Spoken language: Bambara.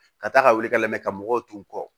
Ka taa ka wuli ka layɛ ka mɔgɔw tun kɔ